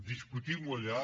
discutim ho allà